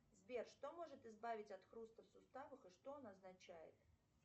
сбер что может избавить от хруста в суставах и что он означает